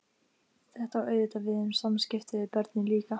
Þetta á auðvitað við um samskipti við börnin líka.